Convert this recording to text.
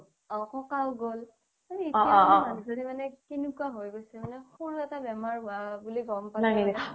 অ ককা গ'ল এটিয়া মানে এনেকুৱা হৈ গৈছে মানে সৰু এটা বেমাৰ হুৱা গ'ম পালেই